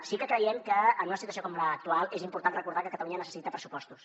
sí que creiem que en una situació com l’actual és important recordar que catalunya necessita pressupostos